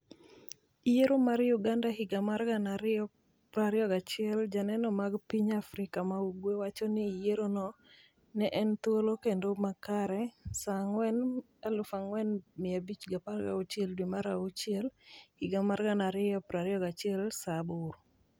, Yiero mar Uganda higa mar 2021: Joneno mag piny Afrika ma ugwe wacho ni yierono ne en thuolo kendo makare, Saa 4,4516 dwe mar achiel higa mar 2021 saa 2:00